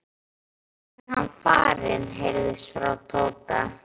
er hann farinn? heyrðist frá Tóta.